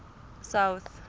south